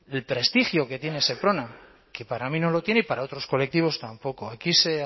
el prestigio que tiene seprona que para mí no lo tiene y para otros colectivos tampoco aquí se